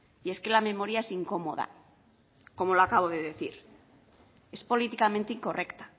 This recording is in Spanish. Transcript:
y es que la memoria es incómoda como lo acabo de decir es políticamente incorrecta